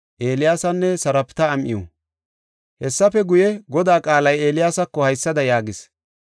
Hessafe guye, Godaa qaalay Eeliyaasako haysada yaagis;